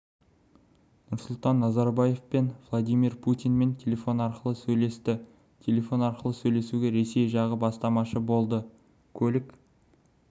нұрсұлтан назарбаев пен владимир путинмен телефон арқылы сөйлесті телефон арқылы сөйлесуге ресей жағы бастамашы болды көлік